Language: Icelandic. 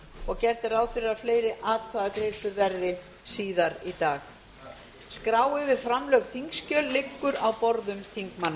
og gert er ráð fyrir að fleiri atkvæðagreiðslur verði síðar í dag skrá yfir framlögð þingskjöl liggur á borðum þingmanna